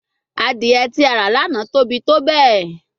Adie ti a ra lana tobi tobẹẹ